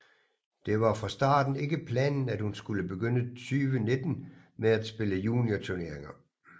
Det var dog fra starten ikke planen at hun skulle begynde 2019 med at spille juniorturneringer